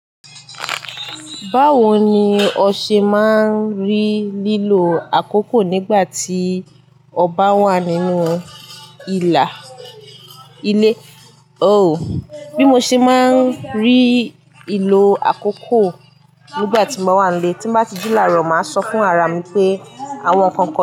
Báwo ni o ṣe máa ń rí lílo àkókò nígbà tí ọba wà nínú ìlà ilé? Oh, bí mo ṣe máa ń rí ìlò àkókò nígbà tí mo wà nílé, tí mo bá tiji làárọ̀, màá sọ fún ara mi pé àwọn nnkan kan.